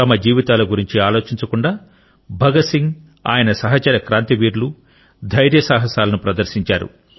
తమ జీవితాల గురించి ఆలోచించకుండా భగత్ సింగ్ ఆయన సహచర క్రాంతివీరులు ధైర్యసాహసాలను ప్రదర్శించారు